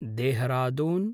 Dehradun